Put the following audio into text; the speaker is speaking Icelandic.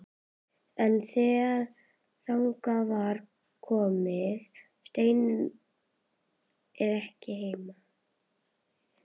En þegar þangað kom var Steinunn ekki heima.